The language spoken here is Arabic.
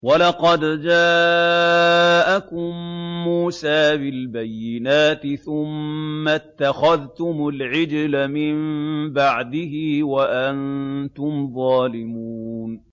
۞ وَلَقَدْ جَاءَكُم مُّوسَىٰ بِالْبَيِّنَاتِ ثُمَّ اتَّخَذْتُمُ الْعِجْلَ مِن بَعْدِهِ وَأَنتُمْ ظَالِمُونَ